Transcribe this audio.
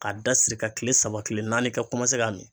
K'a da siri ka kile saba kile naani i ka kɔmanse k'a mi